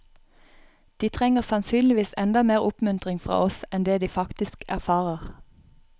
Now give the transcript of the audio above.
De trenger sannsynligvis enda mer oppmuntring fra oss enn det de faktisk erfarer.